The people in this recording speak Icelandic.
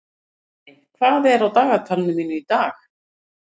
Rafney, hvað er á dagatalinu mínu í dag?